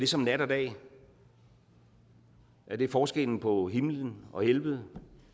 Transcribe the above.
som nat og dag er det forskellen på himmel og helvede